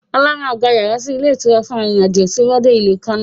Ọlá máa gba yàrá sì ilé ìtura fún arìnrìn-àjò tí ó bá dé ìlú Kano